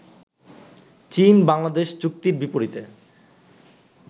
চীন-বাংলাদেশ চুক্তির বিপরীতে